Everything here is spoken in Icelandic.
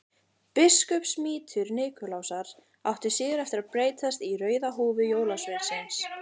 Biskupsmítur Nikulásar átti síðar eftir að breytast í rauða húfu jólasveinsins.